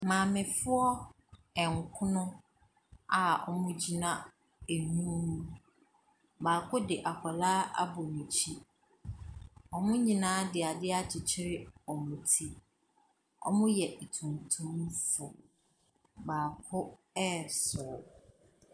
Maamefoɔ nkron a wɔgyina nwunu mu. Baako de akwadaa agɔ n'akyi. Wɔn nyinaa de adeɛ akyekyere wɔn ti. Wɔyɛ atuntumfoɔ. Baako resere.